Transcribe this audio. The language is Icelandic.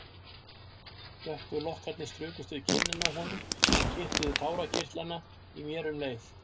Dökku lokkarnir strukust við kinnina á honum og kitluðu tárakirtlana í mér um leið.